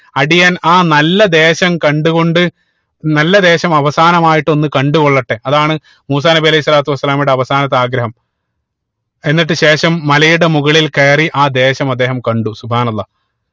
അടിയൻ ആ നല്ല ദേശം കണ്ടുകൊണ്ട് നല്ല ദേശം അവസമായിട്ട് ഒന്ന് കണ്ടു കൊള്ളട്ടെ അതാണ് മൂസാ നബി അലൈഹി സ്വലാത്തു വസ്സലാമയുടെ അവസാനത്തെ ആഗ്രഹം എന്നിട്ട് ശേഷം മലയുടെ മുകളിൽ കയറി ആ ദേശം അദ്ദേഹം കണ്ടു അള്ളാഹ്